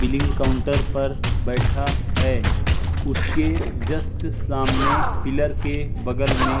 billing counter पर बैठा है उसके जस्ट सामने पिलर के बगल में